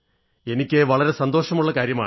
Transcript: എനിക്ക് വളരെ സന്തോഷമുള്ള കാര്യമാണ്